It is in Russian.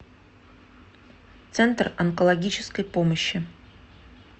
центр онкологической помощи